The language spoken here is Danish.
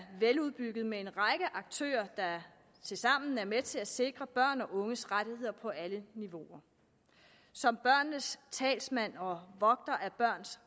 veludbygget med en række aktører der tilsammen er med til at sikre børns og unges rettigheder på alle niveauer som børnenes talsmand og vogter af børns